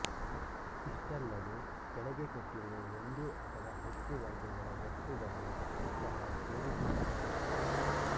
ಇಷ್ಟಲ್ಲದೇ ಕೆಳಗೆ ಕೊಟ್ಟಿರುವ ಒಂದು ಅಥವಾ ಹೆಚ್ಚು ವರ್ಗಗಳ ವಸ್ತುಗಳನ್ನು ಸಹ ಸೇರಿಸುತ್ತಾರೆ